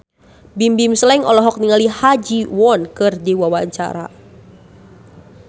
Bimbim Slank olohok ningali Ha Ji Won keur diwawancara